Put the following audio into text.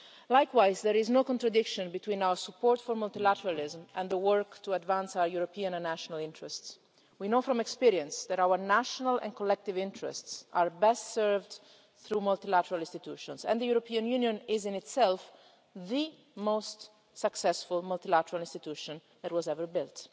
Likewise, there is no contradiction between our support for multilateralism and the work to advance our European and national interests. We know from experience that our national and collective interests are best served through multilateral institutions, and the European Union is in itself the most successful multilateral institution that was ever built.